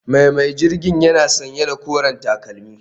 Mai mai jirgin yana sanye da koren takalmi